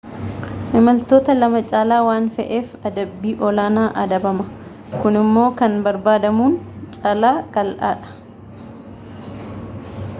imaltoota 2 caalaa waan fe'eef adabbii olaanaa adabama kunimmoo kan barbaadamuun caalaa qaala'aadha